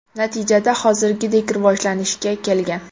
Natijada hozirgidek rivojlanishga kelgan.